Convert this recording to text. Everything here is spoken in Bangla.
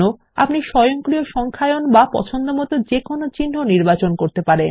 আপনি স্বয়ংক্রিয় সংখ্যায়ন বা পছন্দমতো কোনো চিহ্ন নির্বাচন করতে পারেন